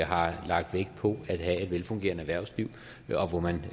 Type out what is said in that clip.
har lagt vægt på at have et velfungerende erhvervsliv og hvor man